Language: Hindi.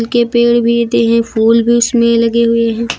के पेड़ भी हैं फूल भी उसमें लगे हुए हैं।